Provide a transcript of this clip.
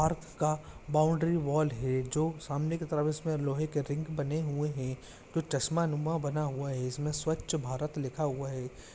आर्फ का boundary wall है जो सामने की तरफ इसमें लोहे के रिंग बने हुए हैं जो चश्मा नुमा बना हुआ है इसमें स्वच्छ भारत लिखा हुआ है।